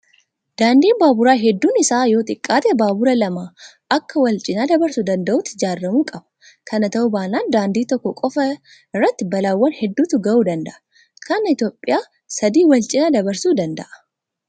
Daandiin baaburaa hedduun isaa yoo xiqqaate baabura lama akka wal cinaa dabarsuu danda'utti ijaaramuu qaba. Kana ta'uu baannaan daandii tokko qofaa irratti balaawwan hedduutu gahuu danda'a. Kan Itoophiyaa sadii wal cinaa dabarsuu danda'a.